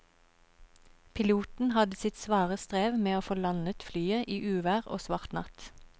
Piloten hadde sitt svare strev med å få landet flyet i uvær og svart natt.